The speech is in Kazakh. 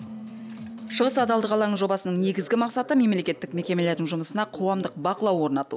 шығыс адалдық алаңы жобасының негізгі мақсаты мемлекеттік мекемелердің жұмысына қоғамдық бақылау орнату